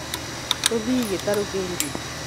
tũthiĩ gĩtaro kĩngĩ